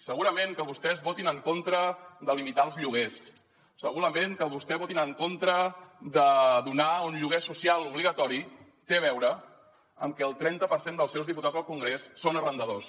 segurament que vostès votin en contra de limitar els lloguers segurament que vostès votin en contra de donar un lloguer social obligatori té a veure amb que el trenta per cent dels seus diputats al congrés són arrendadors